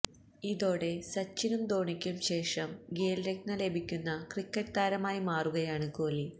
ഇതോടെ സച്ചിനും ധോണിയ്ക്കും ശേഷം ഖേല് രത്ന ലഭിക്കുന്ന ക്രിക്കറ്റ് താരമായി മാറുകയാണ് കോഹ്ലി